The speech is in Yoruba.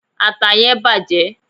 ata yen bàjé